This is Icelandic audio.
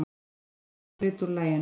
Spilaður hluti úr laginu.